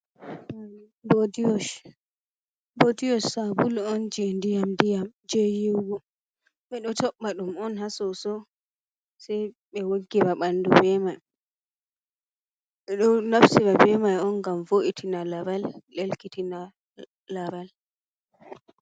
Ɓodi wash sabulu on je diyam diyam je yiwugo ɓeɗo tobba dum on ha soso sai be woggira ɓandu bemai ɓeɗo naftira be man gam vo’itina laral ɗelkitina laral.